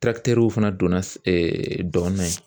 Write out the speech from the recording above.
fana donna dɔn na ye